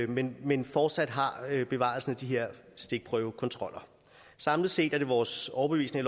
men men fortsat har bevaret de her stikprøvekontroller samlet set er det vores overbevisning